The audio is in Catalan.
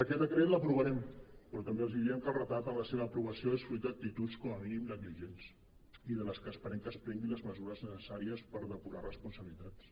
aquest decret l’aprovarem però també els diem que el retard en la seva aprova·ció és fruit d’actituds com a mínim negligents i de les quals esperem que es pren·guin les mesures necessàries per depurar responsabilitats